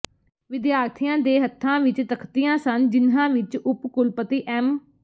ਵਿਦਿਆਰਥੀਆਂ ਦੇ ਹੱਥਾਂ ਵਿਚ ਤਖ਼ਤੀਆਂ ਸਨ ਜਿਨ੍ਹਾਂ ਵਿਚ ਉਪ ਕੁਲਪਤੀ ਐਮ